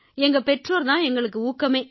எங்க பெற்றோர் தான் எங்களுக்கு ஊக்கமே